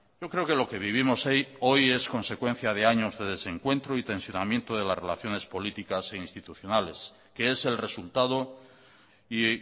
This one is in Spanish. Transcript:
yo creo que lo que vivimos hoy es consecuencia de años de desencuentro y tensionamiento de las relaciones políticas e institucionales que es el resultado y